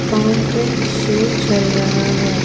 Fountain show चल रहा है ।